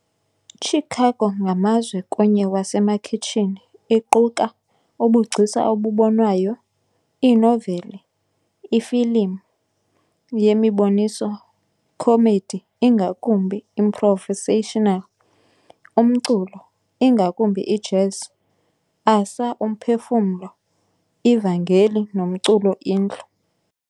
Chicago ngamazwe kunye wasemakhiyshini iquka ubugcisa obubonwayo, iinoveli, ifilim, yemiboniso, comedy ingakumbi improvisational, umculo, ingakumbi ijazz, asa, umphefumlo, ivangeli nomculo indlu.